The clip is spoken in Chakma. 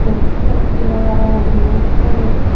te sigun he ranga ranga guriney siyanot.